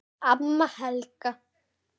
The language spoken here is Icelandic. Amma Helga.